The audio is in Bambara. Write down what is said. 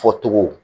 Fɔ cogo